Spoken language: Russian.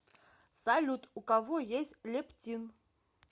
салют у кого есть лептин